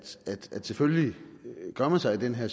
at selvfølgelig gør man sig i den her